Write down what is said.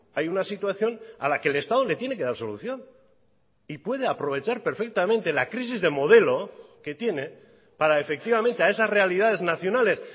hay una situación a la que el estado le tiene que dar solución y puede aprovechar perfectamente la crisis de modelo que tiene para efectivamente a esas realidades nacionales